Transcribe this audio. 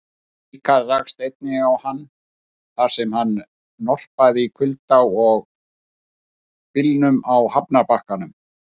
Ríkharð rakst einnig á hann, þar sem hann norpaði í kulda og byljum á hafnarbakkanum.